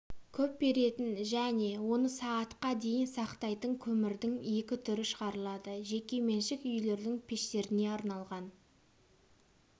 көп беретін және оны сағатқа дейін сақтайтын көмірдің екі түрі шығарылады жекеменшік үйлердің пештеріне арналған